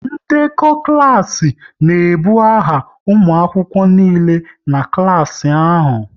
Ndekọ klas n'ebu aha ụmụ akwụkwọ niile nọ n'klas ahụ